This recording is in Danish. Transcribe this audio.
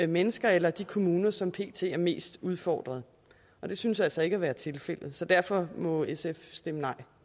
mennesker eller de kommuner som pt er mest udfordret det synes altså ikke at være tilfældet så derfor må sf stemme nej